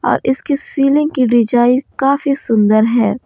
और इसकी सीलिंग की डिजाइन काफी सुंदर है।